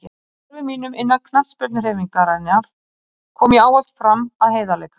Í störfum mínum innan knattspyrnuhreyfingarinnar kom ég ávallt fram af heiðarleika.